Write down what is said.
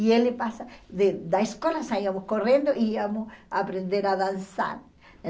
E ele passa, de da escola saíamos correndo e íamos aprender a dançar.